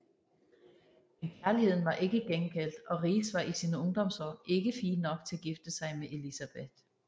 Men kærligheden var ikke gengældt og Riis var i sine ungdomsår ikke fin nok til at gifte sig med Elisabeth